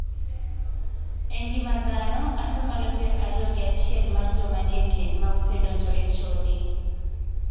E ngima dhano, atamalo pier ariyo gi achiel mar joma nie keny ma osegadonjo e chode.